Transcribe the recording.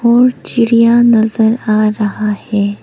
और चिड़िया नजर आ रहा है।